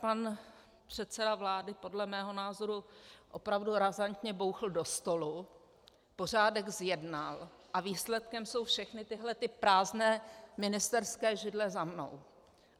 Pan předseda vlády podle mého názoru opravdu razantně bouchl do stolu, pořádek zjednal a výsledkem jsou všechny tyhlety prázdné ministerské židle za mnou.